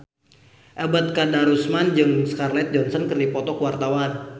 Ebet Kadarusman jeung Scarlett Johansson keur dipoto ku wartawan